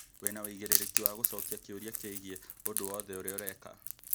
Wĩna wĩigĩrĩrĩki wa gũcokia kĩũria kĩgiĩ ũndũ wothe ũrĩa ũreka